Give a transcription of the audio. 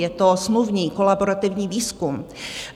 Je to smluvní kolaborativní výzkum.